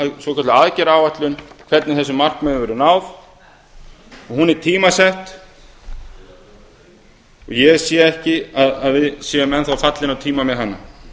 svokölluð aðgerðaáætlun hvernig þessu markmiði verður náð og hún er tímasett og ég sé ekki að við séum enn þá fallin á tíma með hana